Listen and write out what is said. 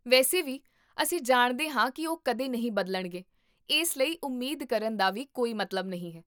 ਵੈਸੇ ਵੀ, ਅਸੀਂ ਜਾਣਦੇ ਹਾਂ ਕੀ ਉਹ ਕਦੇ ਨਹੀਂ ਬਦਲਣਗੇ, ਇਸ ਲਈ ਉਮੀਦ ਕਰਨ ਦਾ ਵੀ ਕੋਈ ਮਤਲਬ ਨਹੀਂ ਹੈ